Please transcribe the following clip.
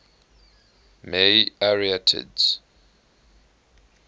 may arietids